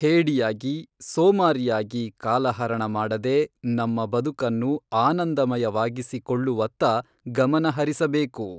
ಹೇಡಿಯಾಗಿ, ಸೋಮಾರಿಯಾಗಿ ಕಾಲಹರಣ ಮಾಡದೆ ನಮ್ಮ ಬದುಕನ್ನು ಅನಂದಮಯವಾಗಿಸಿಕೊಳ್ಳುವತ್ತ ಗಮನಹರಿಸಬೇಕು.